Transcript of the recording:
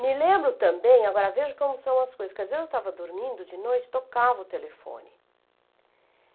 Me lembro também, agora veja como são as coisas, que às vezes eu estava dormindo de noite e tocava o telefone.